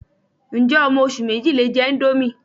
Ǹjẹ́ ọmọ oṣù méjì lè jẹ índómì